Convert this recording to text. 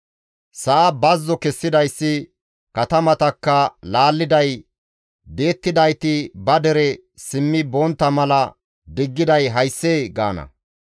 Sa7a bazzo kessidayssi, katamatakka laalliday, di7ettidayti ba dere simmi bontta mala diggiday hayssee?» gaana.